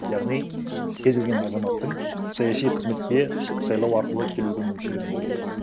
яғни кез келген азаматтың саяси қызметке сайлау арқылы келуге мүмкіншілігінің болуы